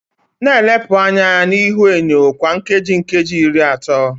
Na-elepụ anya na ihuenyo kwa nkeji nkeji iri atọ